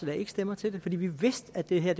lagde ikke stemmer til det fordi vi vidste at det her